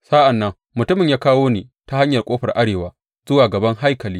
Sa’an nan mutumin ya kawo ni ta hanyar ƙofar arewa zuwa gaban haikali.